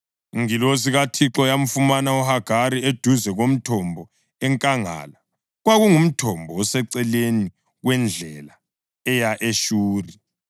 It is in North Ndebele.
Ingilosi kaThixo yamfumana uHagari eduze komthombo enkangala; kwakungumthombo oseceleni kwendlela eya eShuri.